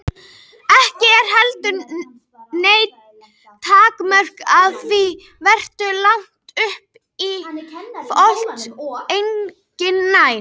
Ekki eru heldur nein takmörk á því hversu langt upp í loft eign nær.